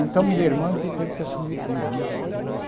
Então, minha irmã teve que assumir tudo né.